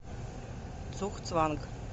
цугцванг